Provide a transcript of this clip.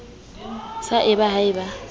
sa d ha e ba